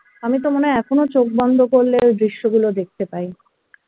আমি তো মনে হয় এখনো চোখ বন্ধ করলে ওই দৃশ্যগুলো দেখতে পাই